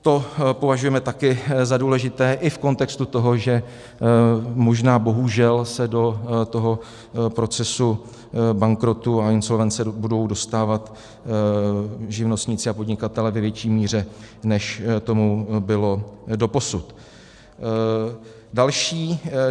To považujeme také za důležité i v kontextu toho, že možná bohužel se do toho procesu bankrotu a insolvence budou dostávat živnostníci a podnikatelé ve větší míře, než tomu bylo doposud.